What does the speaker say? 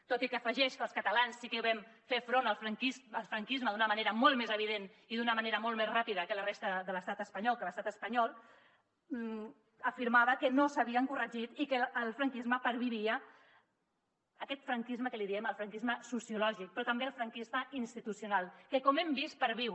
tot i que afegeix que els catalans sí que vam fer front al franquisme d’una manera molt més evident i d’una manera molt més ràpida que la resta de l’estat espanyol que l’estat espanyol afirmava que no s’havien corregit i que el franquisme pervivia aquest franquisme que en diem el franquisme sociològic però també el franquisme institucional que com hem vist perviu